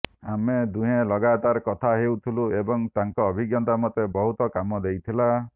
ଆମେ ଦୁହେଁ ଲଗାତାର କଥା ହେଉଥିଲୁ ଏବଂ ତାଙ୍କ ଅଭିଜ୍ଞତା ମୋତେ ବହୁତ କାମ ଦେଇଥିଲା